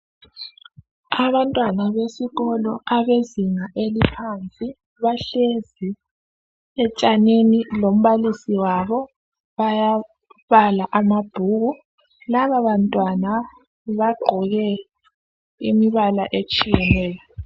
Abantwana besikolo abezinga eliphansi bahlezi etshanini lombalisi wabo bayabala amabhuku lababantwana bagqoke imibala etshiyeneyo